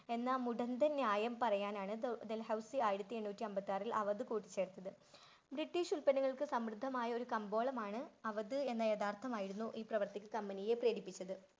എന്നാൽ മുടന്തൻ ന്യായം പറയാനാണു ഡൽഹൌസി അയിരത്തിയെണ്ണൂറ്റി ആമ്പത്താറിൽ അവത് കൂട്ടിച്ചേർത്തത്. ബ്രിട്ടീഷ് ഉത്പന്നങ്ങൾക്ക് സമർദ്ദമായ ഒരു കമ്പോളമാണ് അവത് എന്ന് യാഥാർത്ഥമായിരുന്നു ഈ പ്രവർത്തിക്ക് കമ്പനിയെ പ്രേരിപ്പിച്ചത്.